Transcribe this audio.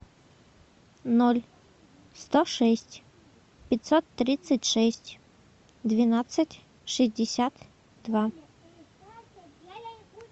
ноль сто шесть пятьсот тридцать шесть двенадцать шестьдесят два